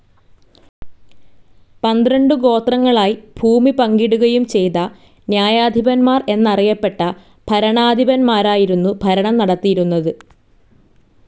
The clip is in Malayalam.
പന്ത്രണ്ടു ഗോത്രങ്ങളായി ഭൂമി പങ്കിടുകയും ചെയ്തു ന്യായാധിപന്മാർ എന്നറിയപ്പെട്ട ഭരണാധിപന്മാരായിരുന്നു ഭരണം നടത്തിയിരുന്നത്.